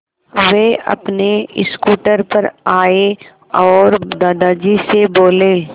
वे अपने स्कूटर पर आए और दादाजी से बोले